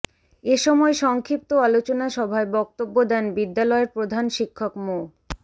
এ সময় সংক্ষিপ্ত আলোচনা সভায় বক্তব্য দেন বিদ্যালয়ের প্রধান শিক্ষক মো